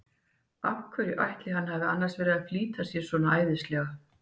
Af hverju ætli hann hafi annars verið að flýta sér svona æðislega!